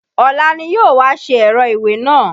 Ọ̀la ni yóò wá ṣe ẹ̀rọ ìwé náà?